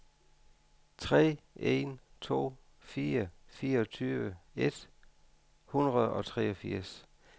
tre en to fire fireogtyve et hundrede og treogfirs